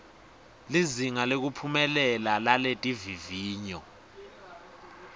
lizinga lekuphumelela laletivivinyo